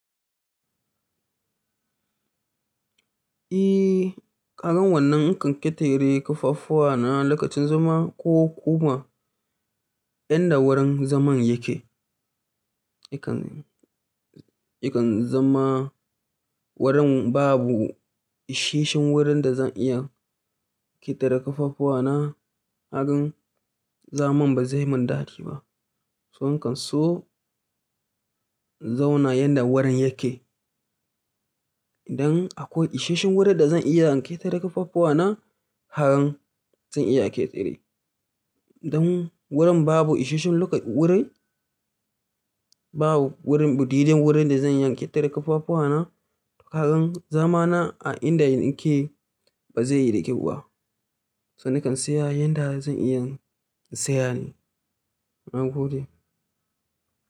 Eh, kagan wannan in kan ƙetare kafafuwa na lokacin zama ko kuma inda wurin zaman yake. Akan, ikan zama wurin babu isheshin wurin da zan iya ƙetare kafafuwa na, nagan zaman ba zai yi min dadi ba. Son kan so inzauna inda wurin yake. Idan akwai isheshin wurin da zan iya ƙetare kafafuwa na, har zan iya ƙetare. Idan wurin babu isheshin loka wurin, babu wurin budiden wurin da zan iya ƙetare kafafuwa na, kagan zama na a inda nike ba zai yi da kyau ba. Son nakan saya inda zan iya sayane. Na gode.